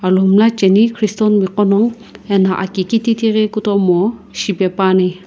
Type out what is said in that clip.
chaene christian mi gho no ano aki ghi kititi ghi kutomo shipae pa ne.